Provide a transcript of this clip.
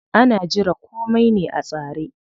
Ana jira komai ne a tsare.